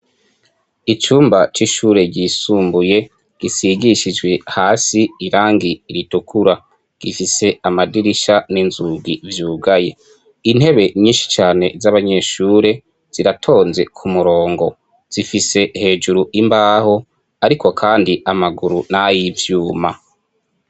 Icumba c'ishure ry'isumbuye risigishijwe hasi irangi ritukura .Gifise Amadirisha ninzugi vyugaye. intebe nyishi cane aabanyeshure ziratonze kumurango zifise hejeru imbaho, ariko kandi amagauru nayi vyuma.